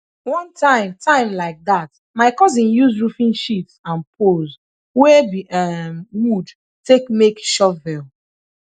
one time time like dat my cousin use roofing sheets and poles wey be um wood take make shovel